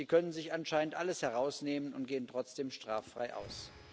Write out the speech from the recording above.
Sie können sich anscheinend alles herausnehmen und gehen trotzdem straffrei aus.